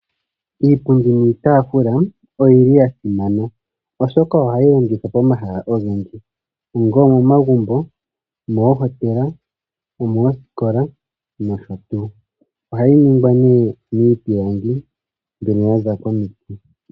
Iipundi niitafula oyi yasimana oshoka ohayi longithwa pomahala ogendji onga omomagumbo, omoohotela, omoosikola noshotuu. Ohayi ningwa nee miipilangi mbyono yaza komiiti.